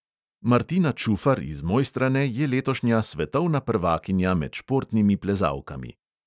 Martina čufar iz mojstrane je letošnja svetovna prvakinja med športnimi plezalkami.